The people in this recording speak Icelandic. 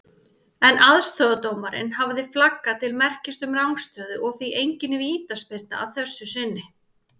En aðstoðardómarinn hafði flaggað til merkis um rangstöðu og því engin vítaspyrna að þessu sinni.